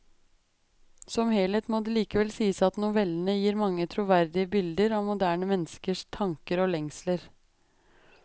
Som helhet må det likevel sies at novellene gir mange troverdige bilder av moderne menneskers tanker og lengsler.